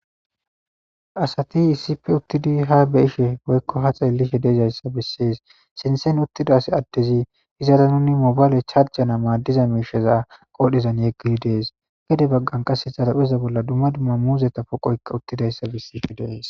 Asati yissife uttidi ha beishe hoykko ha xeelihi dezayssa bissees sinsen uttidas addezi hizara nunni mobaale charjana maaddiza miisheza qoodhezan yeggidi dees gede baggan qasse zarapheza bolla dumma dumma muuzeta poqoykka uttidayssa bissife deees